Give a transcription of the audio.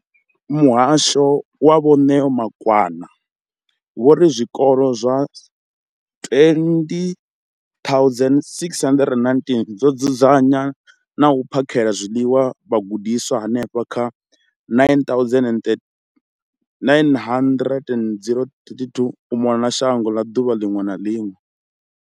Muhasho, Vho Neo Rakwena, vho ri zwikolo zwa 20 619 zwi dzudzanya na u phakhela zwiḽiwa vhagudiswa vha henefha kha 9 032 622 u mona na shango ḓuvha ḽiṅwe na ḽiṅwe.